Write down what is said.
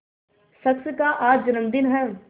शख्स का आज जन्मदिन है